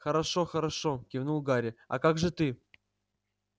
хорошо-хорошо кивнул гарри а как же ты